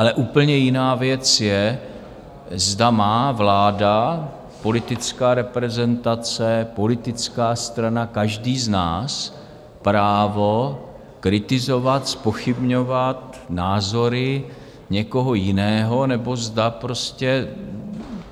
Ale úplně jiná věc je, zda má vláda, politická reprezentace, politická strana, každý z nás, právo kritizovat, zpochybňovat názory někoho jiného, nebo zda prostě